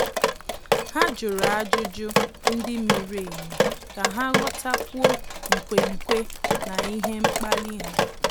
Há jụ̀rụ́ ájụ́jụ́ ndị miri emi kà há ghọ́tákwúọ́ nkwenkwe na ihe mkpali ha.